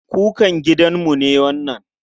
Kukun gidanmu ne wannan.